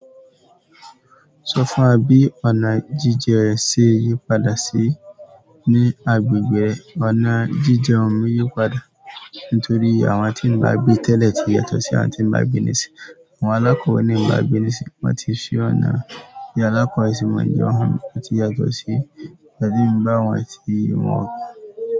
Sọ fún wa bí ọ̀nà jíjẹ ẹ ṣe yípadà sí i ní agbègbè? Ọ̀nà jíjẹ ọmọ yípadà nítorí àwọn tí ń gbàgbé tẹ́lẹ̀ ti yàtọ̀ sí àwọn tí ń gbàgbé nísìnyí. Àwọn alákọ̀ọ́ní ń gbàgbé nísìnyí, wọ́n ti ṣe ọ̀nà, ìyí alákọ̀ọ́ ìsinmọ́ ń jẹ́ ohun tó ti yàtọ̀ sí ìpàdé ń gbá wọn àti ìwọ̀n ọkọ̀